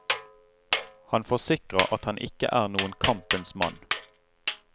Han forsikrer at han ikke er noen kampens mann.